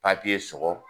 papiye sɔrɔ